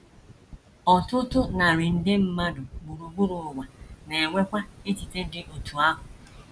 Ọtụtụ narị nde mmadụ gburugburu ụwa na - enwekwa echiche dị otú ahụ.